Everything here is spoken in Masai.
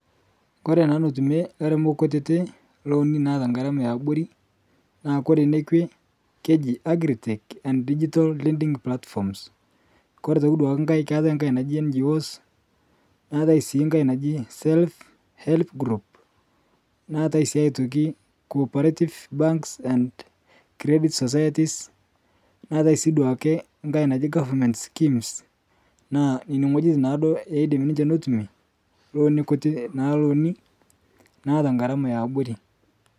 Kore naa notumie lairemok kutitii lonii naa naata ngaramaa eabori, naa kore nekwee keji agri-tech and digital leading platforms, Kore otoki duake ng'hai keatai ng'hai naji Ngos, naatai sii ng'hai naji self-help groups , naatai sii otoki cooperative bank and credit societies naatai sii abaki duake ng'hai naji government schemes naa nenia ng'ojitin naa duo eidim ninshe notumie naa lonii kutitii naata ngaramaa eabori